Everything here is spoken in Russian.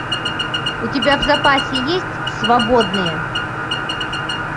у тебя в запасе есть свободные